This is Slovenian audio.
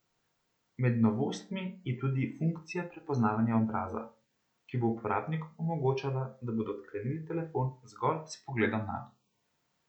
Med novostmi je tudi funkcija prepoznavanja obraza, ki bo uporabnikom omogočala, da bodo odklenili telefon zgolj s pogledom nanj.